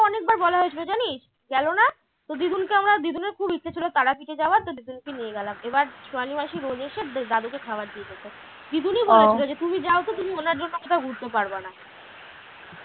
বলা হয়েছিল জানিস গেল না তো দিগুন কে আমরা দিগুনের খুব ইচ্ছে ছিল তারাপীঠে যাওয়ার তো দিগুনকে নিয়ে গেলাম এবার সোনালি মাসি বলেছে দাদুকে খাবার দিয়ে যেত দিগুনই বলেছে যে তুমি যাও তো তুমি ওনার জন্য কোথাও ঘুরতে পারবা না